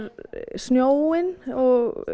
snjóinn og